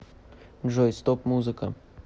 джой стоп музыка